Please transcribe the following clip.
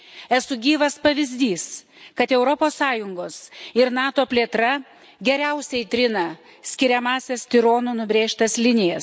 Esu gyvas pavyzdys, kad Europos Sąjungos ir NATO plėtra geriausiai trina skiriamąsias tironų nubrėžtas linijas.